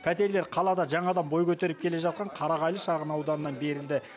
пәтерлер қалада жаңадан бой көтеріп келе жатқан қарағайлы шағын ауданынан берілді